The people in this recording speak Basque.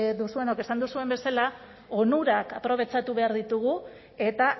duzuenok esan duzuen bezala onurak aprobetxatu behar ditugu eta